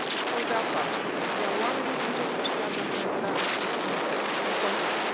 sau de afaceri, iar oamenii încep să își piardă încrederea în acest concept.